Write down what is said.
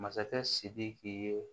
Masakɛ sidiki ye